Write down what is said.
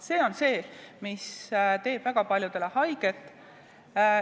See on see, mis teeb väga paljudele haiget.